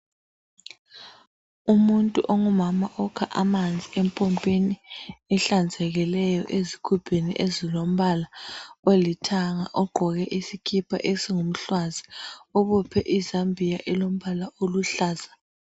Umuntu ongumama okha amanzi empompini ehlanzekileyo. Ezigubhini ezilombala olithanga. Ogqoke isikipa esingumhlwazi. Obophe iizambia elombala oluhlaza,